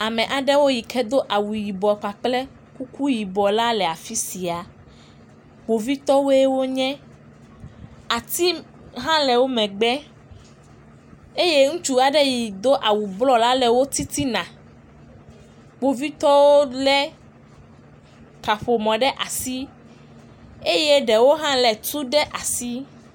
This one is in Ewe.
Kpovitɔwo le teƒe sia wo sɔgbɔ, wolé ŋutsu aɖe ɖe asi si ke do dzime wu eya meɖiɔ kuku o gake Kpovitɔwo ya ɖɔi kuku, kpovitɔwo ƒe ŋu tɔ ɖe anyi. Woƒe megbe la atiwo li, wotɔ ɖe anyigba si nye anyigba gbadza.